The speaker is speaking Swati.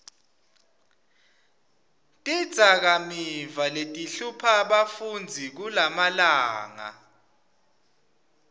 tidzakamiva letihlupha bafundzi kulamalanga